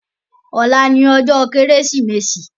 Òlá ni òjò Kérésimési